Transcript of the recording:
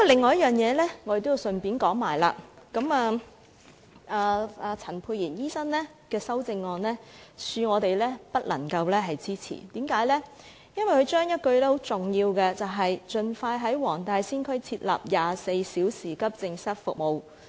我要順帶一提另一點，陳沛然議員的修正案，恕我們不能夠支持，因為他刪除了很重要的一句，就是"在黃大仙區設立24小時急症室服務"。